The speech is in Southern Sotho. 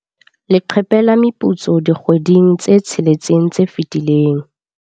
Leqephe la meputso dikgweding tse tsheletseng tse fetileng.